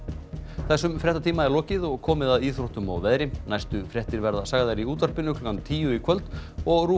þessum fréttatíma er lokið og komið að íþróttum og veðri næstu fréttir verða sagðar í útvarpinu klukkan tíu í kvöld og ruv